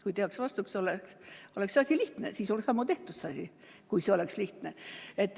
Kui teaks vastust, oleks asi lihtne, siis oleks ammu see asi tehtud, kui see oleks lihtne.